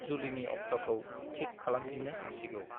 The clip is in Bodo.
जुलिनि अक्ट'खौ थिक खासामफिन्नो हासिगोन ।